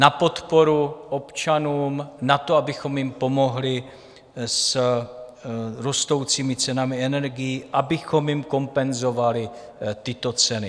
Na podporu občanům, na to, abychom jim pomohli s rostoucími cenami energií, abychom jim kompenzovali tyto ceny.